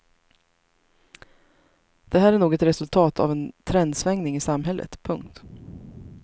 Det här är nog ett resultat av en trendsvängning i samhället. punkt